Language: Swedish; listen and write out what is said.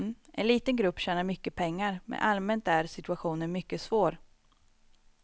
En liten grupp tjänar mycket pengar, men allmänt är situationen mycket svår.